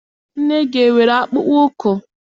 Nne gị enwere akpụkpọụkwụ?